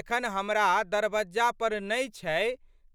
एखन हमरा दरबज्जा पर नहि छै